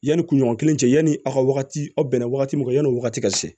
Yanni kunɲɔgɔn kelen cɛ yanni aw ka wagati aw bɛnna wagati min yani wagati ka se